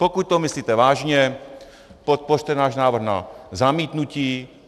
Pokud to myslíte vážně, podpořte náš návrh na zamítnutí.